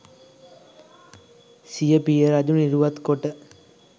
සිය පිය රජු නිරුවත් කොට